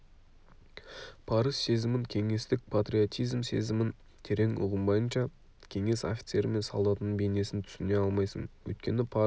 парыз сезімін кеңестік патриотизм сезімін терең ұғынбайынша кеңес офицері мен солдатының бейнесін түсіне алмайсың өйткені парыз